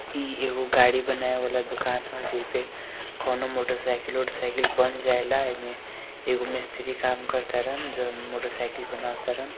ई एगो गाड़ी बनावे वाला दुकान है इमे कोनो मोटरसाइकिल वोटरसाइकिल बन जाएला इमे एगो मिस्त्री काम करातारा जो मोटरसाइकिल बनावा तारा।